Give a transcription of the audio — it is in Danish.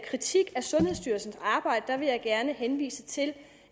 kritik af sundhedsstyrelsens arbejde vil jeg gerne henvise til